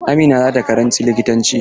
Amina za ta karanci likitanci.